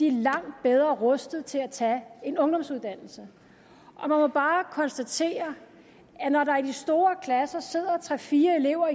er langt bedre rustet til at tage en ungdomsuddannelse og man må bare konstatere at når der i de store klasser sidder tre fire elever